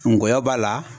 Ngɔyɔ b'a la